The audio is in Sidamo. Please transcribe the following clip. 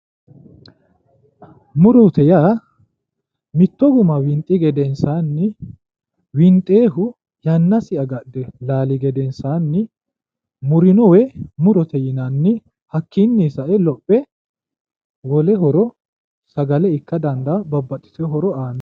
murote yaa mitto guma winxi gedensaanni winxoonnihu yannasi agadhe laali gedensaanni murino woyi murote yinanni hakkiinni sae lophe wole horo sagale ikka dandaanno babbaxitino horo aanno.